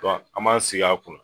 an m'an sigi kunna